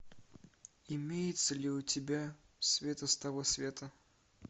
имеется ли у тебя света с того света